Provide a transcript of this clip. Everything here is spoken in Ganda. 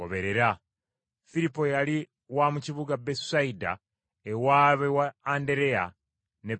Firipo yali wa mu kibuga Besusayida ewaabwe wa Andereya ne Peetero.